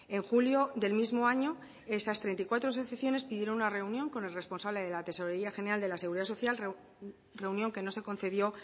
en julio del mismo año esas treinta y cuatro asociaciones pidieron una reunión con el responsable de la tesorería general de la seguridad social reunión que no se concedió